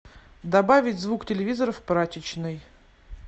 добавить звук телевизора в прачечной